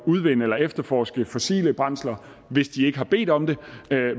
udvinde eller efterforske fossile brændsler hvis de ikke havde bedt om det